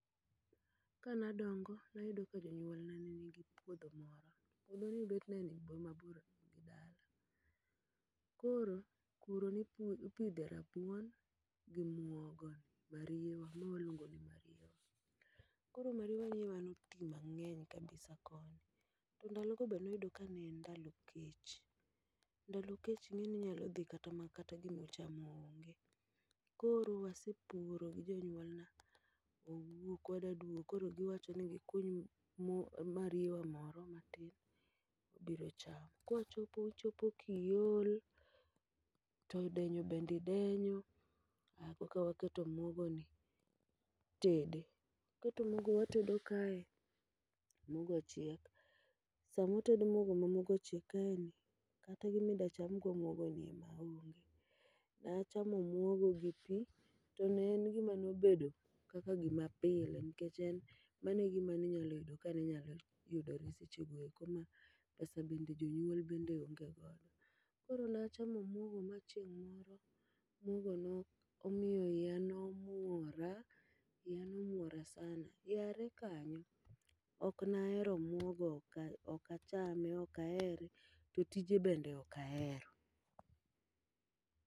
Ka nadongo, nayudo ka janyul na ne nigi puodho moro. Puodho ni bet ne ni mabor gi dala. Koro, kuro nipu nipidhe rabuon gi muogo ni mariewa, ma waluongo ni mariewa. Koro mariewa ni ema noti mang'eny kabisa koni, to ndalo go be noyudo ka ne en ndalo kech. Ndalo kech ing'e ni inyalo dhi kata ma kata gimu chamo onge. Koro wasepuro gi jonyuol na, wawuok wadwaduogo koro giwacho ni gikuny mwo mariewa moro matin wabiro chamo. Kwachopo uchopo kiol, to denyo bendi denyo ah koka waketo mwaogo ni itede. Waketo mwago watego kae, mwogo chiek. Sama utedo mwogo ma mwogo ochiek kae ni, kata gimi dwa cham go mwogo ema onge. Nachamo mwogo gi pi, to ne en gima nobedo kaka gima pile. Nikech en mano e gima ninyalo yudo ka nenyalo yudore seche go eko ma pesa bende jonyuol bende onge godo. Koro nachamo mwogo ma chieng' moro mwogo nomiyo iya nomwora, iya nomwora sana. Yare kanyo, ok nahero mwogo, oka okachame okahere to tije bende okahero.